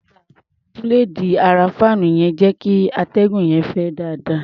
Búléèdì ara fáànù yẹn ń jẹ́ kí atẹ́gùn yẹn fẹ́ dáadáa.